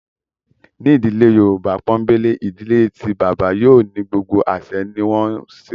Ní ìdílé Yorùbá pọ́ńbélé, ìdílé tí bàbá yóò ní gbogbo àsẹ ní wọ́n ń ṣe